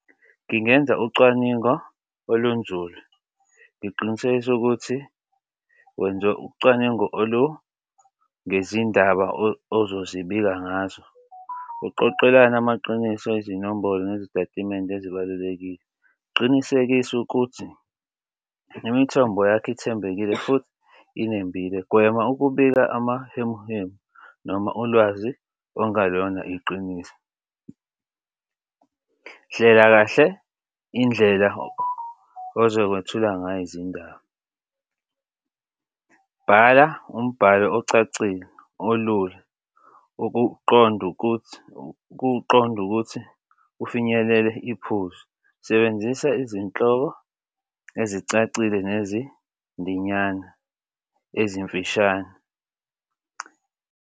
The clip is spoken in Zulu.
Ngingenza ucwaningo olunzulu ngiqinisekise ukuthi wenze ucwaningo olungezindaba ozozibika ngazo. Uqoqelane amaqiniso, izinombolo nezitatimende ezibalulekile. Qinisekisa ukuthi imithombo yakho ithembekile futhi inembile. Gwema ukubika amahemuhemu noma ulwazi okungelona iqiniso. Hlela kahle indlela ozokwethula ngayo izindaba. Bhala umbhalo ocacile olula ukuqonda ukuthi kuqonde ukuthi ufinyelele iphuzu. Sebenzisa izinhlobo ezicacile nezindinyana ezimfishane.